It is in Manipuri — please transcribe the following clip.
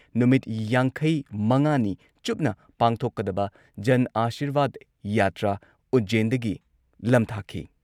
ꯅꯨꯃꯤꯠ ꯌꯥꯡꯈꯩꯃꯉꯥꯅꯤ ꯆꯨꯞꯅ ꯄꯥꯡꯊꯣꯛꯀꯗꯕ ꯖꯟ ꯑꯥꯁꯤꯔꯕꯥꯗ ꯌꯥꯇ꯭ꯔꯥ ꯎꯖꯖꯦꯟꯗꯒꯤ ꯂꯝꯊꯥꯈꯤ